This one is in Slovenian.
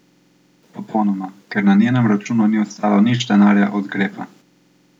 Popolnoma, ker na njenem računu ni ostalo nič denarja od Grepa.